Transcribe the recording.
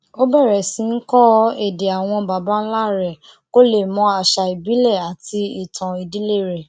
ó bèrè sí í kó èdè àwọn baba ńlá rè kó lè mọ àṣà ìbílè rè àti ìtàn ìdílé rè